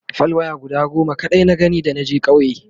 fal waya guda goma kaɗai na gani da naje ƙauye